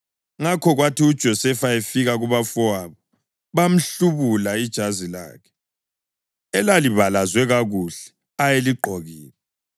Ngakho kwathi uJosefa efika kubafowabo, bamhlubula ijazi lakhe, elalibalazwe kakuhle ayeligqokile,